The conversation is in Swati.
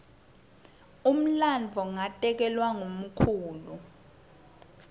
umlandvo ngatekelwa ngumkhulu